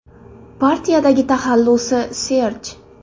Partiyadagi taxallusi – Serj.